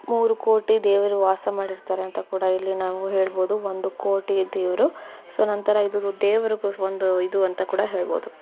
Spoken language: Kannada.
ಮೂರು ಕೋಟಿ ದೇವರು ಕೂಡ ವಾಸ ಮಾಡಿರ್ತಾರೆ ಅಂತ ಕೂಡ ನಾವು ಇಲ್ಲಿ ಹೇಳಬಹುದು ಒಂದು ಕೋಟಿ ದೇವರು ಸೊ ನಂತರ ಇದು ದೇವರು ಒಂದಿ ಇದು ಅಂತ ಕೂಡ ಹೇಳಬಹುದು.